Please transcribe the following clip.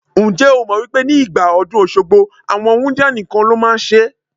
Ǹjẹ́ o mọ̀ wípé ní ìgbà ọdún Òṣogbo, àwọn wúńdíá nìkan ló máa ń ṣe ẹ́?